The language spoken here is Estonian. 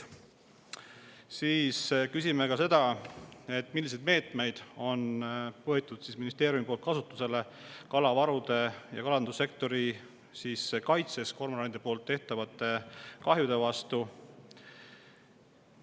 Küsime ka seda, milliseid meetmeid on võetud ministeeriumi poolt kasutusele kalavarude ja kalandussektori kaitseks kormoranide kahjude vastu.